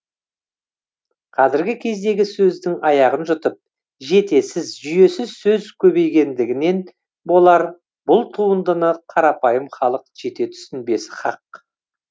қазірге кездегі сөздің аяғын жұтып жетесіз жүйесіз сөз көбейгендігінен болар бұл туындыны қарапайым халық жете түсінбесі хақ